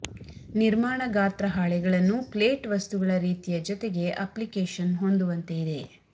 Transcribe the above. ನಿರ್ಮಾಣ ಗಾತ್ರ ಹಾಳೆಗಳನ್ನು ಪ್ಲೇಟ್ ವಸ್ತುಗಳ ರೀತಿಯ ಜೊತೆಗೆ ಅಪ್ಲಿಕೇಶನ್ ಹೊಂದುವಂತೆ ಇದೆ